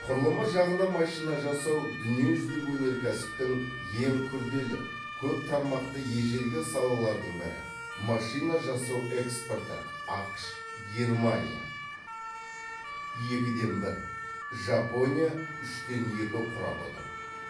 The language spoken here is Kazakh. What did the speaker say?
құрылымы жағынан машина жасау дүние жүзілік өнеркәсіптің ең күрделі көп тармақты ежелгі салалардың бірі машина жасау экспорты ақш германия екіден бір жапония үштен екі құрап отыр